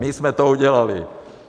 My jsme to udělali.